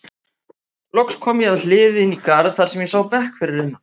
Loks kom ég að hliði inn í garð þar sem ég sá bekk fyrir innan.